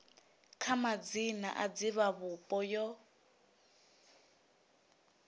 kha madzina a divhavhupo yo